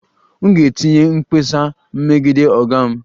M ga-etinye mkpesa megide oga m